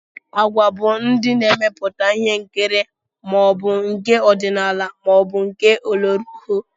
Agwa bụ ndị na-emepụta ihe nkiri, ma ọ bụ nke ọdinala maọbụ nke ọlọrọọhụụ